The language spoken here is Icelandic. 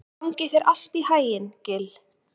Gangi þér allt í haginn, Gill.